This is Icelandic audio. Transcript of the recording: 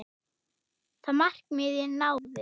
Og það með réttu.